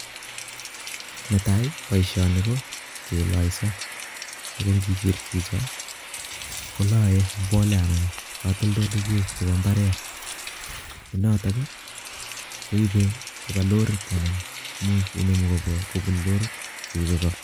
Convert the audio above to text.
Netai, boisoni ko keloiso, ago ng'iger chicho, kolae mbolea anan katoldoleiwek chebo mbaret ne notok koibe koba lorit anan imuch inemu kobwa kobun lorit koibe koo